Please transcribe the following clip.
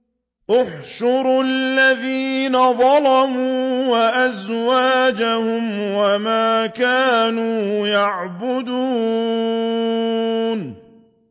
۞ احْشُرُوا الَّذِينَ ظَلَمُوا وَأَزْوَاجَهُمْ وَمَا كَانُوا يَعْبُدُونَ